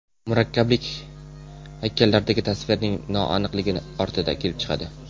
Murakkablik haykallardagi tasvirning noaniqligi ortidan kelib chiqadi.